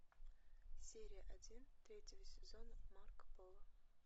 серия один третьего сезона марко поло